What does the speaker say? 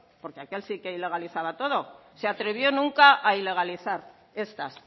porque aquel sí que ilegalizaba todo se atrevió nunca a ilegalizar estas